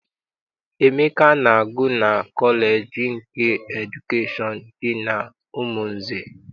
Emeka na-agụ na kọleji nke edukeshọn dị n'Umunze.